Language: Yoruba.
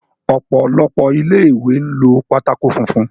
Ọ̀pọ̀lọpọ̀ ilé ìwé ń lo pátákó funfun.